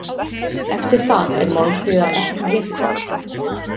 Eftir það er Málmfríðar ekki getið.